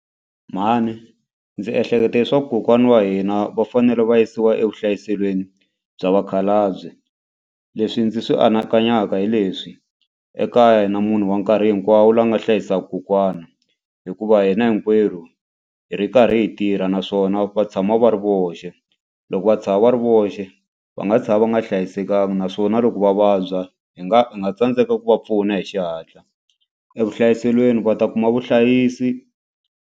Mhani ndzi ehleketa leswaku kokwana wa hina va fanele va yisiwa evuhlayiselweni bya vakhalabye. Leswi ndzi swi anakanyaka hi leswi ekaya a hi na munhu wa nkarhi hinkwawo lava nga hlayisaka kokwana hikuva hina hinkwerhu hi ri karhi hi tirha naswona va tshama va ri voxe. Loko va tshama va ri voxe va nga tshama va nga hlayisekanga naswona loko va vabya hi nga hi nga tsandzeka ku va pfuna hi xihatla evuhlayiselweni va ta kuma vuhlayisi.